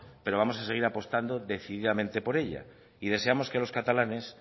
pero vamos a seguir apostando decididamente por ella y deseamos que los catalanes